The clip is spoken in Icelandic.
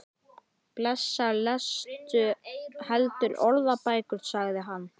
Blessaður lestu heldur orðabækur, sagði hann.